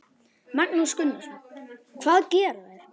Magnús Gunnarsson: Hvað gera þeir?